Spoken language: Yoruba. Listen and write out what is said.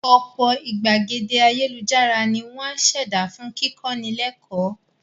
Ọ̀pọ̀ ìgbàgede ayélujára ni wọ́n á ṣẹ̀dá fún kíkọ́ni lẹ́kọ́ọ̀